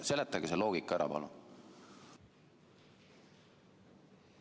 Seletage see loogika ära, palun!